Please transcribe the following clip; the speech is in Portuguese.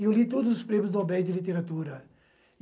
Eu li todos os prêmios Nobéis de Literatura.